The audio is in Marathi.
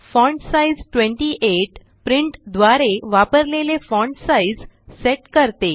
फॉन्टसाइज 28 प्रिंट द्वारे वापरलेले फॉण्ट साइज़ सेट करते